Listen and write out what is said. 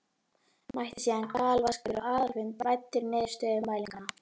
Mætti síðan galvaskur á aðalfund væddur niðurstöðum mælinganna.